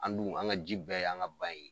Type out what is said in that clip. An' dun, an ŋa ji bɛɛ y'an ka ba ye.